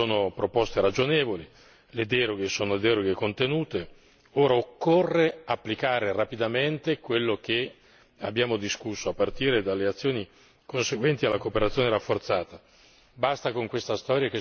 Ora, le proposte sono proposte ragionevoli, le deroghe sono deroghe contenute, ora occorre applicare rapidamente quello che abbiamo discusso a partire dalle azioni conseguenti alla cooperazione rafforzata.